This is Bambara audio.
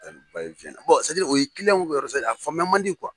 o ye kiliyanw yɛrɛ ka a famuya man di kuwa.